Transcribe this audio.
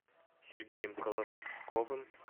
сергеем колосковым